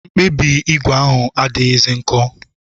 Mkpabi ígwè ahụ adịghịzi nkọ